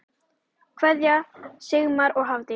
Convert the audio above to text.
Kveðja, Sigmar og Hafdís.